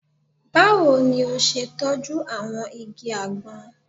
Báwo ni o ṣe tọ́jú àwọn igi àgbọn?